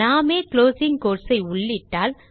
நாமே closing quotes ஐ உள்ளிட்டால்